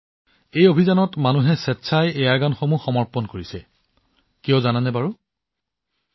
এই অভিযানত মানুহে স্বেচ্ছাই তেওঁলোকৰ এয়াৰগান সমৰ্পণ কৰিছে কিয় জানে যাতে অৰুণাচল প্ৰদেশত চৰাইৰ নিৰ্বিচাৰ চিকাৰ বন্ধ কৰিব পাৰি